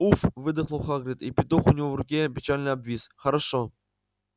уф выдохнул хагрид и петух у него в руке печально обвис хорошо